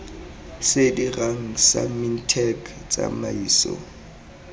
se dirang sa mintech tsamaiso